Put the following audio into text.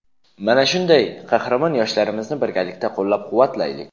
Mana shunday qahramon yoshlarimizni birgalikda qo‘llab-quvvatlaylik.